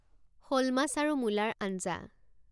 শ'ল মাছ আৰু মূলাৰ আঞ্জা